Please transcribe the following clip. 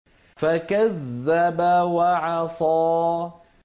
فَكَذَّبَ وَعَصَىٰ